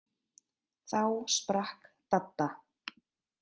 Þá sprakk Dadda.